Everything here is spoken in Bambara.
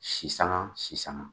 Sisan sisan